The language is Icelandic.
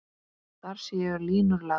Þar séu línur lagðar.